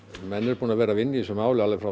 menn eru búnir að vera að vinna í þessu máli alveg frá